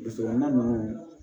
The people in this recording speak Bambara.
Dugu kɔnɔna ninnu